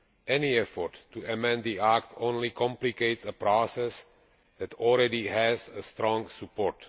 Any effort to amend the act only complicates a process that already has strong support.